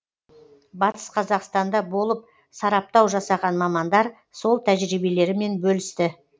батыс қазақстанда болып сараптау жасаған мамандар сол тәжірибелерімен бөлісті